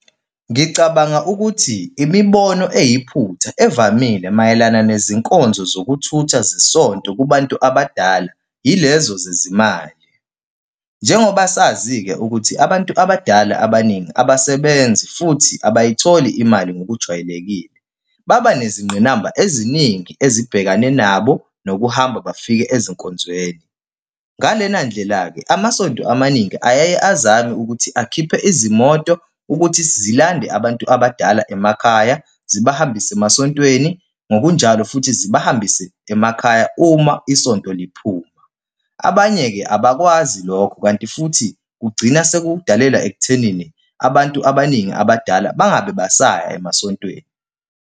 Ngicabanga ukuthi imibono eyiphutha evamile mayelana nezinkonzo zokuthutha zesonto kubantu abadala, yilezo zezimali. Njengoba sazi-ke ukuthi abantu abadala abaningi abasebenzi futhi abayitholi imali ngokujwayelekile, baba nezingqinamba eziningi ezibhekane nabo nokuhamba bafike ezinkonzweni. Ngalena ndlela-ke, amasonto amaningi ayaye azame ukuthi akhiphe izimoto ukuthi zilande abantu abadala emakhaya, zibahambise emasontweni ngokunjalo futhi zibahambise emakhaya uma isonto liphuma. Abanye-ke abakwazi lokho, kanti futhi kugcina sekudalela ekuthenini abantu abaningi abadala bangabe basaya emasontweni.